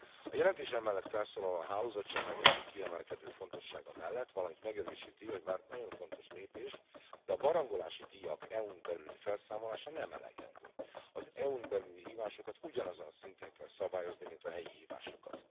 A jelentés emellett felszólal a hálózatsemlegesség kiemelkedő fontossága mellett, valamint megerősíti, hogy bár nagyon fontos lépés, de a barangolási díjak EU n belüli felszámolása nem elegendő az EU n belüli hívásokat ugyanazon a szinten kell szabályozni, mint a helyi hívásokat.